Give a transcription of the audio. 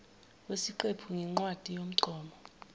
wesiqephu ngencwadi yomgomo